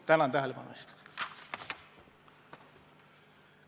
Tänan tähelepanu eest!